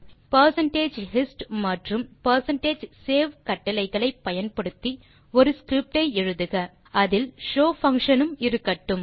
percentage hist மற்றும் percentage save கட்டளைகளை பயன்படுத்தி ஒரு ஸ்கிரிப்ட் எழுதுக அதில் show பங்ஷன் உம் இருக்கட்டும்